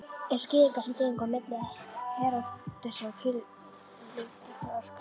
Einsog Gyðingar sem gengu á milli Heródesar og Pílatusar arkaði